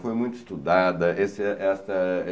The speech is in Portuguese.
Foi muito estudada. Esse esta